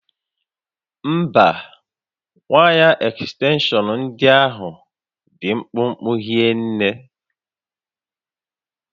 Mba, waya ekstenshọn ndị ahụ dị mkpụmkpụ hinne